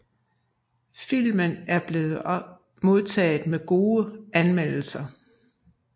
Filmen er blevet modtaget med gode anmeldelser